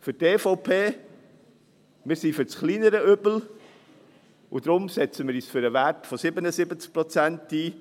Für die EVP: Wir sind für das kleinere Übel und setzen uns daher für den Wert von 77 Prozent ein.